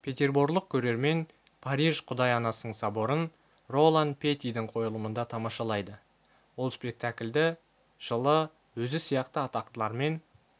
петерборлық көрермен париж құдай анасының соборын ролан петидің қойылымында тамашалайды ол спектакльді жылы өзі сияқты атақтылармен